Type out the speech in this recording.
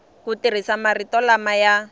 ku tirhisa marito lama ya